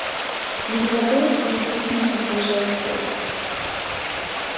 в его голосе действительно послышалась боль